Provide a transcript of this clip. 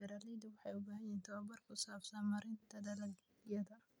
Beeralayda waxay u baahan yihiin tababar ku saabsan maaraynta dalagyada.